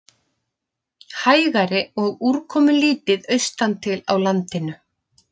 Hægari og úrkomulítið austantil á landinu